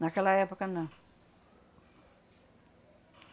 Naquela época, não.